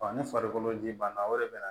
ni farikolo ji ban na o de bɛna